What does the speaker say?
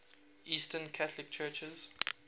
eastern catholic churches